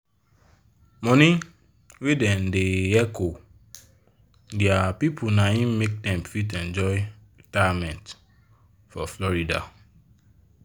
money wey dem da hecho dia people naim make dem fit enjoy retirement for florida